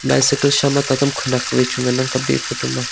bycycle sha ma tatam khunak chu wai ngan ang kap ley e photo ma.